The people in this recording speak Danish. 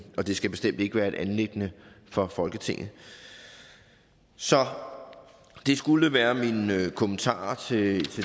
det skal bestemt ikke være et anliggende for folketinget så det skulle være mine kommentarer til